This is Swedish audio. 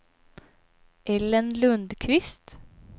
Ellen Lundquist